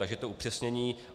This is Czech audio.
Takže je to upřesnění.